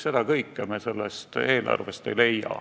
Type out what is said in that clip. Seda kõike me sellest eelarvest ei leia.